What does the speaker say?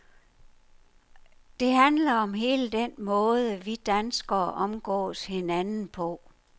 Det handler om hele den måde, vi danskere omgås hinanden på.